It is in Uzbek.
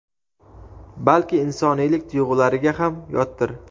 balki insoniylik tuyg‘ulariga ham yotdir.